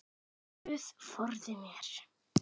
Guð forði mér.